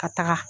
Ka taga